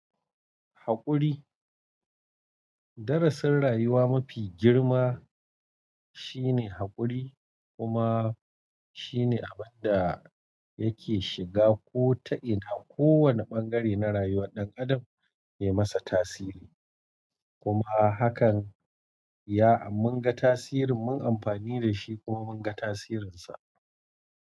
Haƙuri, darasin rayuwa mafi girma shine haƙuri kuma shine abin da yake shiga ko ta'ina ko wane bangare na rayuwar ɗan adam mai masa tasiri kuma hakan ya mun ga tasirin mun amfani dashi kuma mun ga tasirinsa.